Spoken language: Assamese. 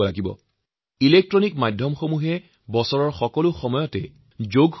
দেশৰ টিভি আৰু ইলেক্ট্ৰনিক মিডিয়াই যোগক লৈ বেলেগে বেলেগে অনুষ্ঠান আয়োজন কৰি থাকে